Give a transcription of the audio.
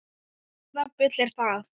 Hvaða bull er það?